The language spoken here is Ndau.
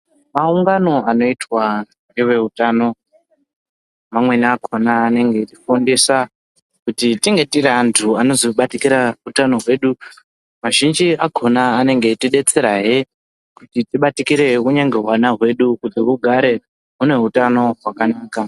Maungano anoitwa ngeveutano, mamweni akhona anenge eitifundisa, kuti tinge tiri antu anozobatikira utano hwedu Mazhinji akhona anonge eitidetserahe ,kuti tibatikire hunyangwe hwana hwedu, kuti hugare hune hutano hwakanaka.